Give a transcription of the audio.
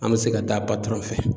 An bɛ se ka ta patɔron fɛ.